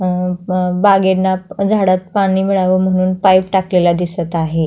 अ ब बागेला अ झाडात पाणी मिळाव म्हणुन पाईप टाकलेला दिसत आहे.